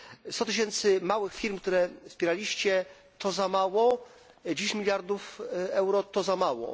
100 tysięcy małych firm, które wspieraliście, to za mało, 10 mld euro to za mało.